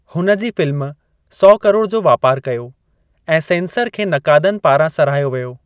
हुन जी फ़िल्म सौ करोड़ जो वापारु कयो ऐं सेंसर खे नक़ादनि पारां साराहियो वियो।